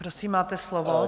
Prosím, máte slovo.